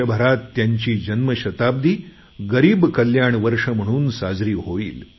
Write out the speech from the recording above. देशभरात त्यांची जन्मशताब्दी गरीब कल्याण वर्ष म्हणून साजरी होईल